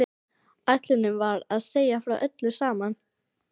Ætlunin var að segja frá öllu saman.